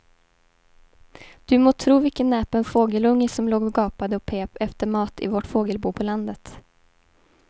Du må tro vilken näpen fågelunge som låg och gapade och pep efter mat i vårt fågelbo på landet.